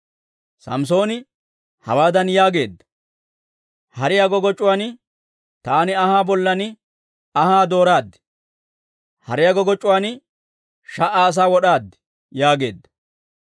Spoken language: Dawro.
Samssooni hawaadan yaageedda; «Hariyaa goggoc'c'uwaan, taani anhaa bollan anhaa dooraad. Hariyaa goggoc'c'uwaan sha"a asaa wod'aad» yaageedda.